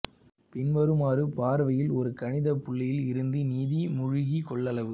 பின்வருமாறு பார்வையில் ஒரு கணித புள்ளியில் இருந்து நிதி மூழ்கி கொள்ளளவு